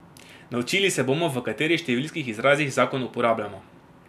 Naučili se bomo, v katerih številskih izrazih zakon uporabljamo.